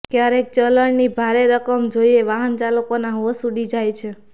ક્યારેક ચલણની ભારે રકમ જોઇએ વાહનચાલકોના હોંશ ઉડી જાય છે